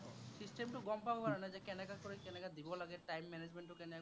system টো গম পাবৰ কাৰনে, যে কেনেকা কৰি কেনেকা দিব লাগে। time management টো কেনেকে